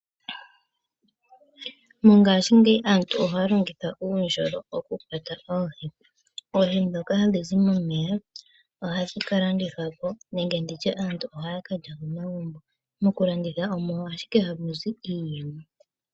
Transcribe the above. Mongashingeyi aantu ohaya longitha uundjolo wokukwata oohi. Oohi dhoka hadhi zi momeya ohadhi kalandithwapo nenge nditye aantu ohaya kalya komagumbo. Mokulanditha omo ashike hamu zi iiyemo.